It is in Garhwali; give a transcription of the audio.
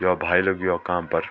यौ भाई लग्युं य काम फर।